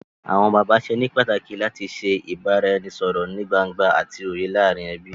Awọn bàbá ṣe ní pàtàkì làti ṣe ibaraẹnisọrọ nìí gbángba àti òye láàrin ẹbí.